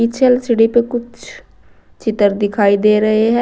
पीछे वाले शीशे में कुछ चित्र दिखाई दे रहे हैं।